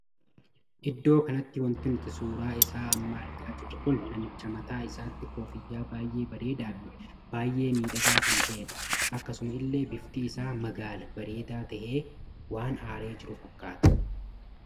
Iddoo kanatti wanti nuti suuraa isaa amma argaa jirru kun namicha mataa isaatti koffiyyaa baay'ee bareedaa Fi baay'ee miidhagaa kan tahedha. akkasuma illee bifti isaa magaala bareedaa tahee waan aaree jiru fakkaata.